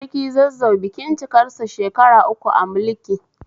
Sarki Zazzau bikin cikarsa shekaru uku a mulki